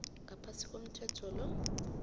ngaphasi komthetho lo